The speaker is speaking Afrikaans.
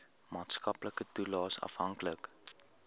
maatskaplike toelaes afhanklik